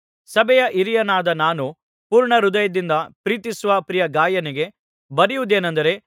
ಸಭೆಯ ಹಿರಿಯನಾದ ನಾನು ಪೂರ್ಣಹೃದಯದಿಂದ ಪ್ರೀತಿಸುವ ಪ್ರಿಯ ಗಾಯನಿಗೆ ಬರೆಯುವುದೇನಂದರೆ